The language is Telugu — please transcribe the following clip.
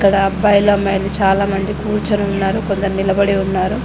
అలా అబ్బాయిలు అమ్మయిలు చాలామంది కూర్చొని ఉన్నారు కొందరు నిలబడి ఉన్నారు.